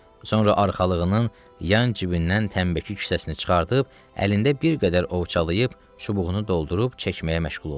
Sonra arxalığının yan cibindən tənbəki kisəsini çıxarıb, əlində bir qədər ovxalayıb, çubuğunu doldurub çəkməyə məşğul oldu.